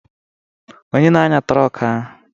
Onye na-anya trọk ahụ?